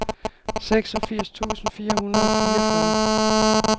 seksogfirs tusind fire hundrede og fireogfyrre